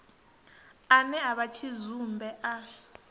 ane a vha tshidzumbe a